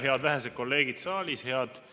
Head vähesed kolleegid saalis!